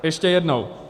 Ještě jednou -